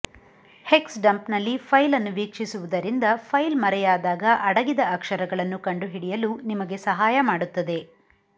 hex ಡಂಪ್ನಲ್ಲಿ file ಅನ್ನು ವೀಕ್ಷಿಸುವುದರಿಂದ ಫೈಲ್ ಮರೆಯಾದಾಗ ಅಡಗಿದ ಅಕ್ಷರಗಳನ್ನು ಕಂಡುಹಿಡಿಯಲು ನಿಮಗೆ ಸಹಾಯ ಮಾಡುತ್ತದೆ